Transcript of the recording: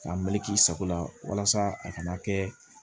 K'a meleke i sago la walasa a kana kɛ